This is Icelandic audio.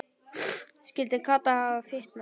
Skyldi Kata hafa fitnað?